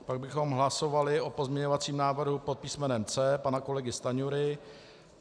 Pak bychom hlasovali o pozměňovacím návrhu pod písmenem C pana kolegy Stanjury.